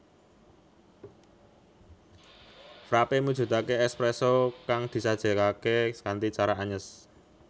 Frappé mujudake espresso kang disajekake kanthi cara anyes